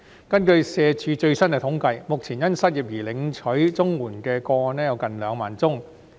根據社會福利署的最新統計，目前因失業而領取綜援的個案有近2萬宗。